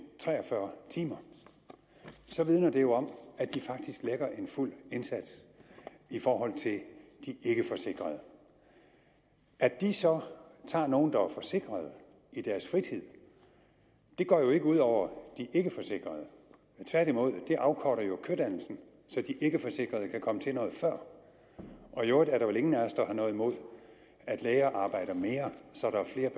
tre og fyrre timer vidner det jo om at de faktisk lægger en fuld indsats i forhold til de ikkeforsikrede at de så tager nogle der er forsikrede i deres fritid går jo ikke ud over de ikkeforsikrede tværtimod det afkorter kødannelsen så de ikkeforsikrede kan komme til noget før i øvrigt er der vel ingen af os der har noget imod at læger arbejder mere så der er